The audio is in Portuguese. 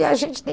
e a gente tem